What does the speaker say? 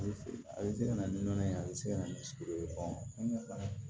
A bɛ fɛ a bɛ se ka na ni nɔnɔ ye a bɛ se ka na ni sogo ye